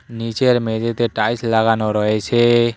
নীচের মেঝেতে টাইলস লাগানো রয়েছে।